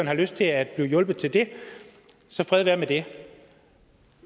har lyst til at blive hjulpet til det så fred være med det